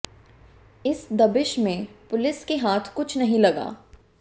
इस दबिश में पुलिस के हाथ कुछ नहीं लगा